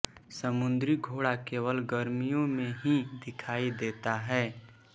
समुद्री घोड़ा केवल गर्मियों में ही दिखाई देता है